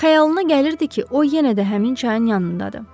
Xəyalına gəlirdi ki, o yenə də həmin çayın yanındadır.